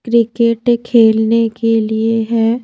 Cricket खेलने के लिए है।